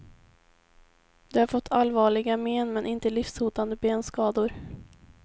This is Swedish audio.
De har fått allvarliga men inte livshotande benskador.